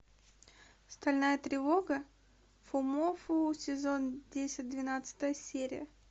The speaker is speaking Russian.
стальная тревога фумоффу сезон десять двенадцатая серия